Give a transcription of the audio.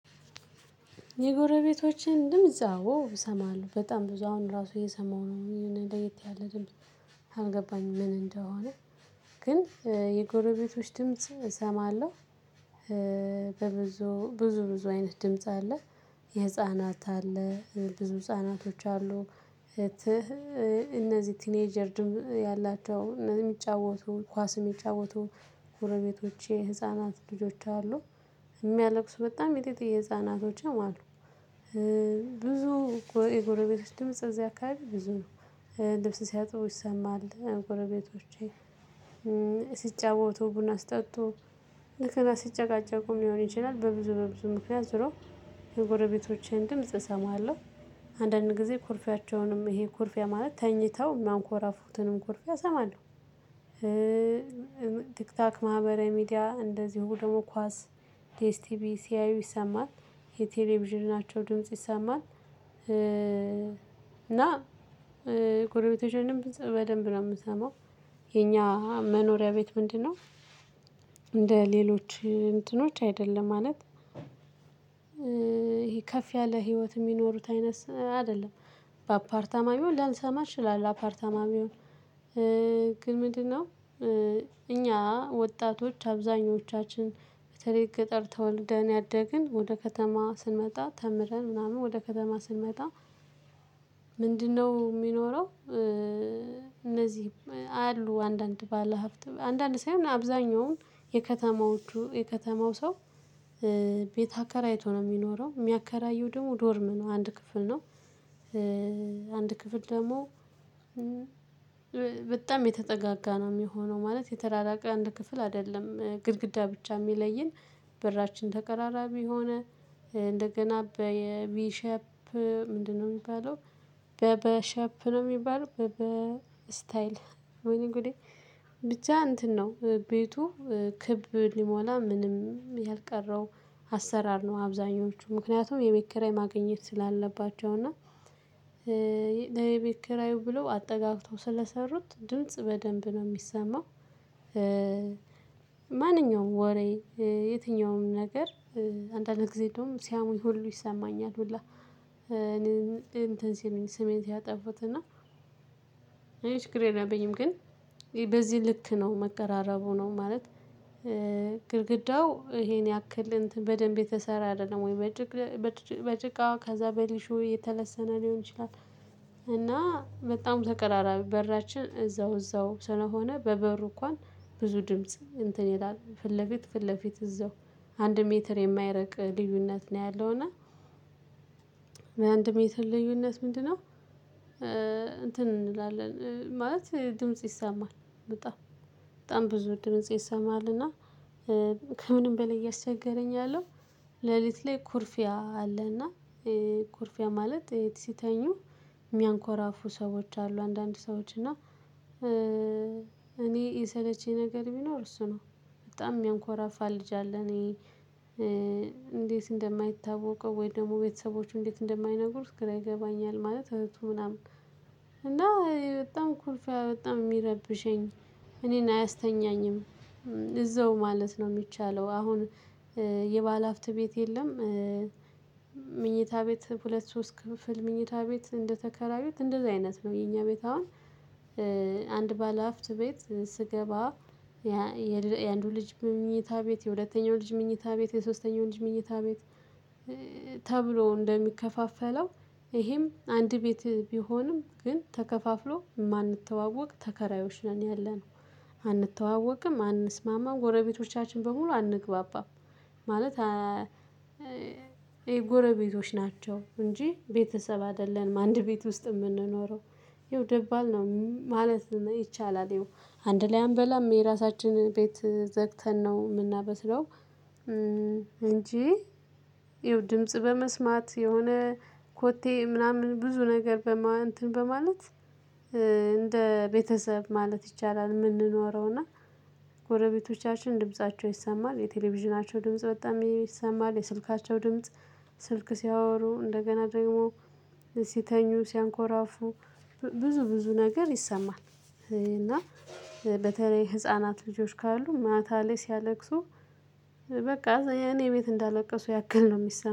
የጎረቤቶችን ድምጽ አዎ እሰማለሁ በጣም ብዙ አሁን ራሱ እየሰማሁ ነው የሆነ ለየት ያለ ድምጽ አልገባኝም ምን እንደሆነ? ግን የጎረቤቶች ድምጽ እሰማለሁ። በብዙ ብዙ ብዙ አይነት ድምጽ አለ። የህፃናት አለ ብዙ ህፃናቶች አሉ። እነዚህ ቲኔጀር ድም ያላቸው የሚጫወቱ ኳስ እሚጫወቱ ጎረቤቶቼ ህፃናት ልጆች አሉ። የሚያለቅሱ በጣም ሚጢጢዬ ህፃናቶችም አሉ። ብዙ የጎረቤቶች ድምጽ እዚህ አካባቢ ብዙ ነው። ልብስ ሲያጥቡ ይሰማል ጎረቤቶቼ ሲጫወቱ ቡና ሲጠጡ እንደገና ሲጨቃጨቁም ሊሆን ይችላል በብዙ በብዙ ምክንያት ዝሮ። የጎረቤቶቼን ድምጽ እሰማለሁ። አንዳንድ ጊዜ ኩርፊያቸውንም ይሄ ኩርፊያ ማለት ተኝተው ሚያንኮራፉትንም ኩርፊያ እሰማለሁ። ቲክታክ ማህበራዊ ሚዲያ እንደዚሁ ደግሞ ኳስ። ዲኤስ ቲቪ ሲያዩ ይሰማል። የቴሌቪዥናቸው ድምጽ ይሰማል። እና ጎረቤቶችንም በደንብ ነው የምሰማው። የኛ መኖሪያ ቤት ምንድነው? እንደ ሌሎች እንትኖች አይደለም ማለት። ይሄ ከፍ ያለ ህይወት የሚኖሩት አይነት አይደለም። በአፓርታማ ቢሆን ላልሰማ እችላለሁ አፓርታማ ቢሆን። ግን ምንድነው? እኛ ወጣቶች አብዛኞቻችን በተለይ ገጠር ተወልደን ያደግን ወደ ከተማ ስንመጣ ተምረን ምናምን ወደ ከተማ ስንመጣ። ምንድነው የሚኖረው? እነዚህም አሉ አንዳንድ ባለሀብት አንዳንድ ሳይሆን አብዛኛውን የከተማዎቹ የከተማውው ሰ ቤት አከራይቶ ነው የሚኖረው የሚያከራየው ደግሞ ዶርም ነው አንድ ክፍል ነው። አንድ ክፍል ደግሞ በጣም የተጠጋጋ ነው የሚሆነው ማለት የተራራቀ አንድ ክፍል አይደለም ግድግዳ ብቻ የሚለይን። በራችን ተቀራራቢ የሆነ እንደገና በየቪ ሸፕ ምንድነው የሚባለው? በ በ ሸፕ ነው የሚባለው በበ ስታይል ወይነጉዴ ብቻ እንትን ነው። ቤቱ ክብ ሊሞላ ምንም ያልቀረው አሰራር ነው አብዛኞቹ ምክንያቱም የቤት ክራይ ማግኘት ስላለባቸው እና ለየቤት ክራዩ ብለው አጠጋግተው ስለሰሩት ድምጽ በደንብ ነው የሚሰማው። ማንኛውም ወሬ የትኛውም ነገር አንዳንድ ጊዜ እንደውም ሲያሙኝ ሁሉ ይሰማኛል ሁላ። እኔ እንትን ሲሉኝ ስሜት ሲያጠፉት እና። እኔ የለብኝም ግን በዚህ ልክ ነው መቀራረቡ ነው ማለት። ግድግዳው ይሄን ያክል በደንብ የተሰራ አይደለም ወይ? በጭቅ በጭቃዋ ከዛ በሊሾ የተለሰነ ሊሆን ይችላል። እና በጣም ተቀራራቢ በራችን እዛው እዛው ስለሆነ በበሩ እንኳን ብዙ ድምጽ እንትን ይላል ፊት ለፊት ፊት ለፊት እዛው አንድ ሜትር የማይረቅ ልዩነት ነው ያለውና። አንድ ሜትር ልዩነት ምንድነው? እንትን እንላለን ማለት ድምጽ ይሰማል በጣም በጣም ብዙ ድምጽ ይሰማል። እና ከምንም በላይ እያስቸገረኝ ያለው። ለሊት ላይ ኩርፊያ አለና። ኩርፊያ ማለት ይሄ ሲተኙ። የሚያንኮራፉ ሰዎች አሉ አንዳንድ ሰዎች እና እኔ የሰለችኝ ነገር ቢኖር እሱ ነው። በጣም የሚያንኮራፋ ልጅ አለ እኔ እንዴት እንደማይታወቀው ወይ ደግሞ ቤተሰቦቹ እንዴት እንደማይነግሩት ግራ ይገባኛል። ማለት እህቱ ምናምን እኔ። የሰለችኝ ነገር ቢኖር እሱ ነው በጣም የሚያንኮራፋ ልጅ አለ እኔ እንዴት እንደማይታወቀው ወይ ደግሞ ቤተሰቦቹ እንዴት እንደማይነግሩት ግራ ይገባኛል። ማለት እህቱ ምናምን እዛው ማለት ነው የሚቻለው አሁን። የባለሀብት ቤት የለም። መኝታ ቤት ሁለት ሶስት ክፍል መኝታ ቤት እንደተከራዩት እንደዚህ አይነት ነው የኛ ቤት አሁን። አንድ ባለሀብት ቤት ስገባ የአንዱ ልጅ መኝታ ቤት የሁለተኛው ልጅ መኝታ ቤት የሶስተኛው ልጅ መኝታ ቤት። ተብሎ እንደሚከፋፈለው ይሄም አንድ ቤት ቢሆንም ግን ተከፋፍሎ የማንተዋወቅ ተከራዮች ነን ያለነው። አንተዋወቅም አንስማማም ጎረቤቶቻችን በሙሉ አንግባባም። ማለት የጎረቤቶች ናቸው እንጂ ቤተሰብ አይደለንም አንድ ቤት ውስጥ የምንኖረው። ያው ደባል ነው ማለት ነው ይቻላል። ያው አንድ ላይ አምበላም የራሳችንን ቤት ዘግተን ነው የምናበስለው። እንጂ ይኸው ድምጽ በመስማት የሆነ ኮቴ ምናምን ብዙ ነገር በማን እንትን በማለት። እንደ ቤተሰብ ማለት ይቻላል የምንኖረው እና። ጎረበቶቻችን ድምፃቸው ይሰማል የቴሌቪዥናቸው ድምጽ በጣም ይሰማል የስልካቸው ድምጽ። ስልክ ሲያወሩ እንደገና ደግሞ ሲተኙ ሲያንኮራፉ ብዙ ብዙ ነገር ይሰማል። እና በተለይ ህፃናት ልጆች ካሉ ማታ ላይ ሲያለቅሱ። በቃ የኔ ቤት እንዳለቀሱ ያክል ነው የሚሰማው